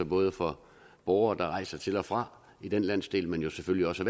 både for borgere der rejser til og fra i den landsdel men jo selvfølgelig også